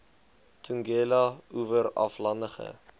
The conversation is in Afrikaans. tugela oewer aflandige